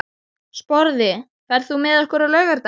Sporði, ferð þú með okkur á laugardaginn?